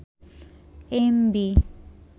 MB